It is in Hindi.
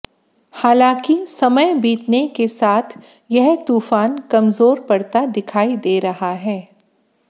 हालांकि समय बीतने के साथ यह तूफान कमजोर पड़ता दिखाई दे रहा है